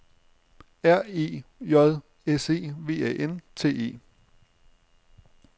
R E J S E V A N T E